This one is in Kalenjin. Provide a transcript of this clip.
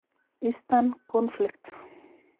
Eastern conflict.